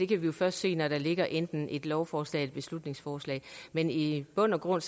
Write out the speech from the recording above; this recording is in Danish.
kan vi jo først se når der ligger enten et lovforslag eller et beslutningsforslag men i i bund og grund